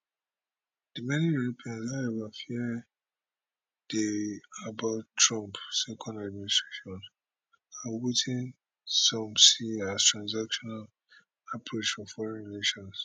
for many europeans however fear dey about trump second administration and wetin some see as transactional approach to foreign relations